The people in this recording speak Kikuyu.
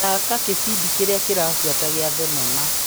Thaka gĩbindi kĩrĩa kĩrabuata gĩa thinema .